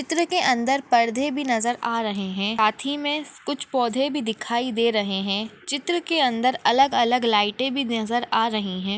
चित्र के अंदर परदे भी नजर आ रहे है साथी मे कुछ पौदे भी दिखाई दे रहे है चित्र के अंदर अलग-अलग लाइटे भी नजर आ रहे है।